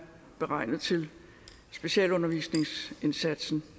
beregnet til specialundervisningsindsatsen